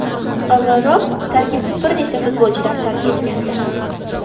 Avvalroq tarkibni bir nechta futbolchilar tark etgandi.